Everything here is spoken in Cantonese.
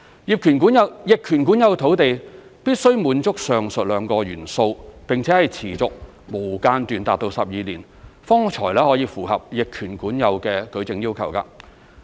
逆權管有土地必須滿足上述兩個元素，並且是持續、無間斷達12年，方符合逆權管有的舉證要求。